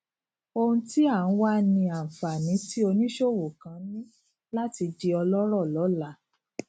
ohun tí à ń wá ni anfani tí oníṣòwò kan ní láti di ọlọrọ lọla